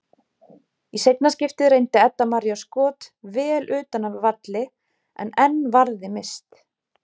Í seinna skiptið reyndi Edda María skot vel utan af velli en enn varði Mist.